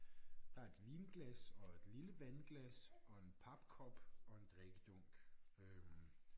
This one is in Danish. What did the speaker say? Der et vinglas og et lille vandglas og en papkop og en drikkedunk øh